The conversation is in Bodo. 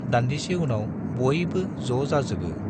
दान्दिसे उनाव बयबो ज' जाजोबो।